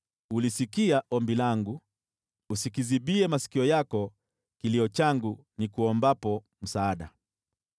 Ulisikia ombi langu: “Usikizibie masikio yako kilio changu nikuombapo msaada.”